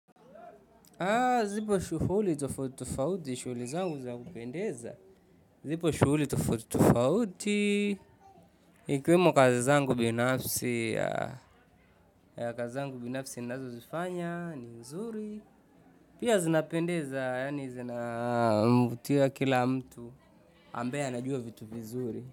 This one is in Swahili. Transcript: Zipo shughuli tofauti tofauti, shuguli zangu za kupendeza, zipo shughuli tofauti tofauti, ikiwemo kazi zangu binafsi, ya. Ya kazi zangu binafsi ninazo zifanya, ni nzuri, pia zinapendeza, yani zinamvutia kila mtu, ambaye anajua vitu vizuri.